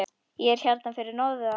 Ég er hérna fyrir norðan.